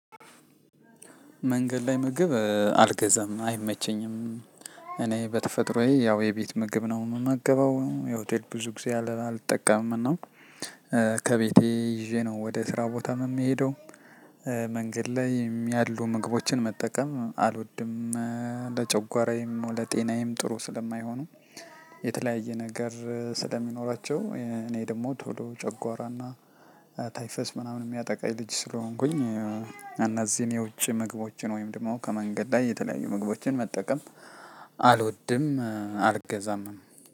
መንገድ ላይ ምግብ አልገዛም አይመቸኝም። እኔ በተፈጥሮዬ ያው የቤት ምግብ ነው የምመገበው የሆቴል ብዙ ጊዜ አልጠቀምም እና። ከቤቴ ይዤ ነው ወደ ስራ ቦታም የምሄደው። መንገድላይም ያሉ ምግቦችን መጠቀም አልወድም። ለጨጓራዬም ለጤናዬም ጥሩ ስለማይሆኑ የተለያየ ነገር ስለሚኖራቸው እኔ ደግሞ ቶሎ ጨጓራና ታይፈስ ምናምን የሚያጠቃኝ ልጅ ስለሆንኩኝ። እነዚህን የውጪ ምግቦችን ወይም ደግሞ ከመንገድ ላይ የተለያዩ ምግቦችን መጠቀም አልወድም። አልገዛምም